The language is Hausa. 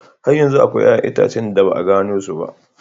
Har yanzu akwai 'ƴa'ƴan itace da ba a gano su ba.